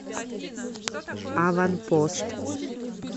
аванпост